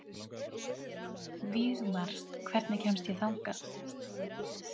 Vígmar, hvernig kemst ég þangað?